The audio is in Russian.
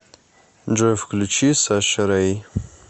джой включи саша рэй